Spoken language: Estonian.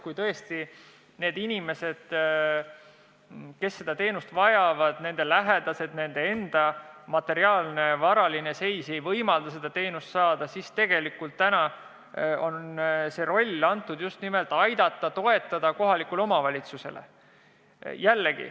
Kui tõesti nendel inimestel, kelle lähedane seda teenust vajab, on nende enda varaline seis selline, et see ei võimalda selle teenuse eest tasuda, siis peab aitama-toetama just nimelt kohalik omavalitsus.